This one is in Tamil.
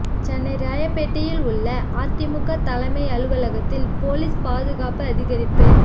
சென்னை ராயப்பேட்டையில் உள்ள அதிமுக தலைமை அலுவலகத்தில் போலீஸ் பாதுகாப்பு அதிகரிப்பு